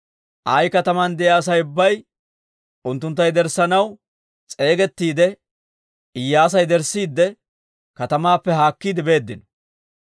Ayi kataman de'iyaa Asay ubbay unttuntta yederssanaw s'eegettiide Iyyaasa yederssiidde katamaappe haakkiide beeddino.